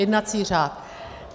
Jednací řád.